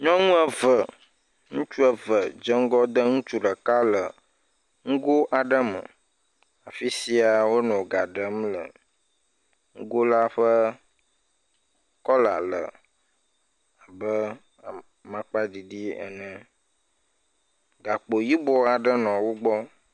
Nyɔnu eve, ŋutsu eve dze ŋgɔ ɖe ŋutsu ɖeka le ŋgo aɖe me, fisia wonɔ gã ɖem le. Ŋgo la ƒe kɔla le abe makpaɖiɖi ene. Gakpo yibɔ aɖe nɔ wogblɔ.